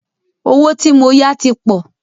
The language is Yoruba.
Owó tí mó yá tí pọ̀.